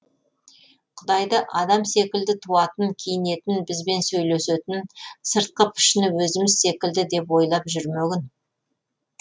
құдайды адам секілді туатын киінетін бізбен сөйлесетін сыртқы пішіні өзіміз секілді деп ойлап жүрмегін